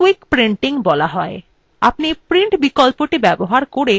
এটিকে quick printing বলা হয়